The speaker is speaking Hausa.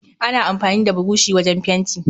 Ana amfani da burushi wujen fenti